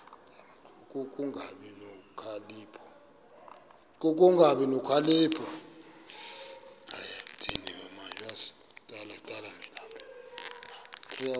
ku kungabi nokhalipho